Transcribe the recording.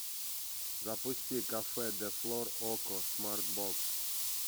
запусти кафе де флор окко смарт бокс